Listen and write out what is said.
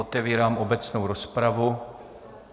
Otevírám obecnou rozpravu.